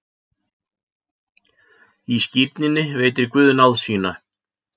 Í skírninni veitir Guð náð sína.